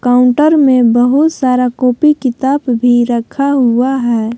Counter में बहुत सारा कॉपी किताब भी रखा हुआ है।